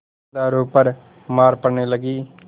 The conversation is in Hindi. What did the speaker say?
पहरेदारों पर मार पड़ने लगी